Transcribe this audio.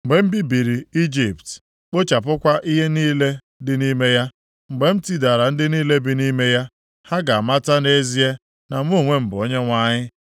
Mgbe m bibiri Ijipt, kpochapụkwa ihe niile dị nʼime ya, mgbe m tidara ndị niile bi nʼime ya, ha ga-amata nʼezie na mụ onwe m bụ Onyenwe anyị.’